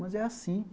Mas é assim.